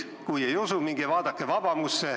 Kui ei usu, siis minge vaadake Vabamut.